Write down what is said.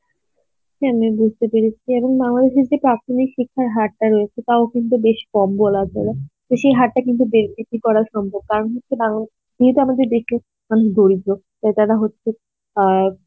হ্যাঁ আমি বুঝতে পেরেছি এবং বাংলাদেশে যে প্রাথমিক শিক্ষার হার টা রয়েছে ওটাও কিন্তু বেশ কম বলা চলে তো সেই হারটা কিন্তু বে~ বৃদ্ধি করা সম্ভব কারণ হচ্ছে বাং~ যেহেতু আমাদের বেশি দরিদ্র তাই তারা হচ্ছে আ